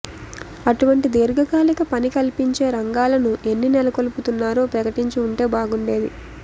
అటువంటి దీర్ఘకాలిక పని కల్పించే రంగాలను ఎన్ని నెలకొల్పుతున్నారో ప్రకటించి ఉంటే బాగుండేది